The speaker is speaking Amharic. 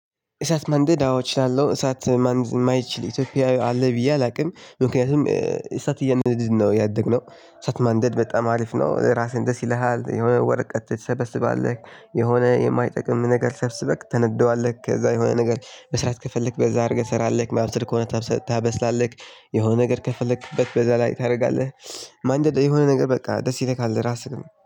እሳት ማንደድ አዎ እችላለሁ። እሳት ማንደድ የማይችል ኢትዮጵያዊ አለ ብዬ አላውቅም። ምክንያቱም እሳት እያነደድን ነው ያደግነው እሳት ማንደድ በጣም አሪፍ ነው። እራስህን ደስ ይልሃል የሆነ ወረቀት ትሰበስባለህ። የሆነ የማይጠቅም ነገር ሰብስበክ ታነደዋለህ ከዛ የሆነ ነገር መስራት ከፈለክ በዛ አድርገህ ትሰራለህ ማብሰል ከሆነ ታበስላለህ። የሆነ ነገር ከፈለክበት በዛ ላይ ታደርጋለህ። ማንደድ የሆነ ነገር በቃ ደስ ይልካል እራስንም